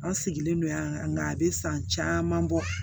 An sigilen don yan nka a bɛ san caman bɔ